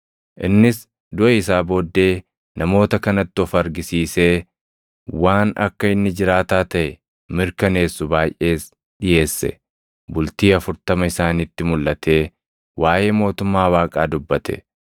Innis duʼa isaa booddee namoota kanatti of argisiisee waan akka inni jiraataa taʼe mirkaneessu baayʼees dhiʼeesse; bultii afurtama isaanitti mulʼatee waaʼee mootummaa Waaqaa dubbate.